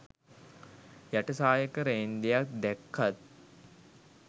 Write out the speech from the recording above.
යට සායක රේන්දයක් දැක්කත්